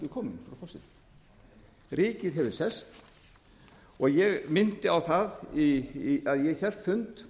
kominn frú forseti ríkið hefur selt og ég minnti á að ég hélt fund